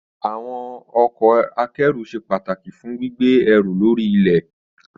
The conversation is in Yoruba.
Àwọn ọkọ̀ akẹ́rù ṣe pàtàkì fún gbígbé ẹrù lórí ilẹ̀.